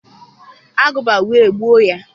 agụba we gbuo ya.